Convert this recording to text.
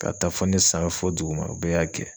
K'a ta fɔ ne san fɔ duguma u bɛɛ y'a kɛ.